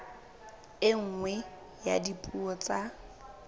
e nngwe ya dipuo tsa